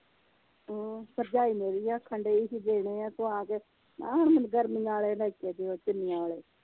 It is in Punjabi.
ਹਮ ਭਰਜਾਈ ਮੇਰੀ ਵੀ ਆਖਣ ਦਈ ਹੀ ਦੇਣੇ ਆ ਤੂੰ ਆ ਕੇ ਮੈ ਕਹਿਆ ਹੁਣ ਮੈਨੂੰ ਗਰਮੀਆਂ ਆਲੇ ਲੈ ਕੇ ਦਿਓ ਚੁੰਨੀਆਂ ਵਾਲੇ।